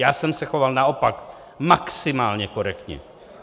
Já jsem se choval naopak maximálně korektně!